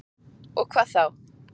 Og hvað þá?